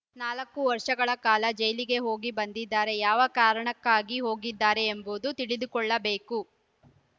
ನಾಲ್ಕು ವರ್ಷಗಳ ಕಾಲ ಜೈಲಿಗೆ ಹೋಗಿ ಬಂದಿದ್ದಾರೆ ಯಾವ ಕಾರಣಕ್ಕಾಗಿ ಹೋಗಿದ್ದಾರೆ ಎಂಬುದನ್ನು ತಿಳಿದುಕೊಳ್ಳಬೇಕು